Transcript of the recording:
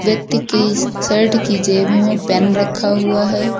व्यक्ति की शर्ट की जेब में पेन रखा हुआ है।